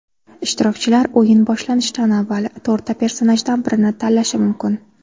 Ishtirokchilar o‘yin boshlanishidan avval to‘rtta personajdan birini tanlashi mumkin.